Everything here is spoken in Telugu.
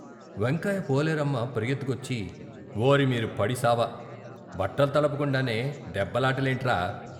వెంకాయి పోలేరమ్మ పరుగెత్తుకొచ్చి "ఓరి మీరు పడిసావ ! బట్టల్తడప కుండానే దెబ్బలాట లేంట్రా?